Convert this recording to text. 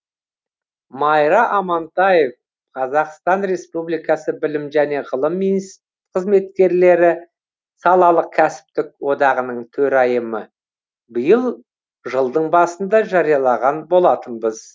майра амантаев қазақстан республикасы білім және ғылым қызметкерлері салалық кәсіптік одағының төрайымы биыл жылдың басында жариялаған болатынбыз